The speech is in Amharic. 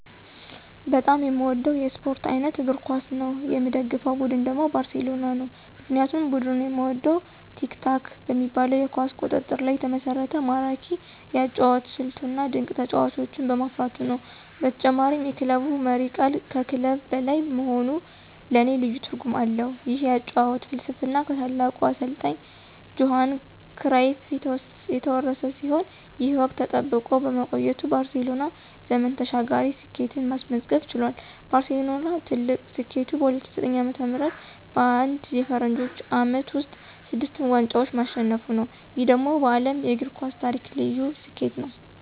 በጣም የምወደው የስፖርት አይነት እግር ኳስ ነው። የምደግፈው ቡድን ደግሞ ባርሴሎና ነው። ምክንያቱም ቡድኑን የምወደው "ቲኪ-ታካ" በሚባለው የኳስ ቁጥጥር ላይ የተመሰረተ ማራኪ የአጨዋወት ስልቱ፣ እና ድንቅ ተጫዋቾችን በማፍራቱ ነው። በተጨማሪም የክለቡ መሪ ቃል ከክለብ በላይ መሆኑ ለኔ ልዩ ትርጉም አለው። ይህ የአጨዋወት ፍልስፍና ከታላቁ አሰልጣኝ ጆሃን ክራይፍ የተወረሰ ሲሆን፣ ይህ ወግ ተጠብቆ በመቆየቱ ባርሴሎና ዘመን ተሻጋሪ ስኬትን ማስመዝገብ ችሏል። ባርሴሎና ትልቁ ስኬቱ በ2009 ዓ.ም. በአንድ የፈረንጆቹ ዓመት ውስጥ ስድስቱን ዋንጫዎች ማሸነፉ ነው። ይህ ደግሞ በዓለም የእግር ኳስ ታሪክ ልዩ ስኬት ነው።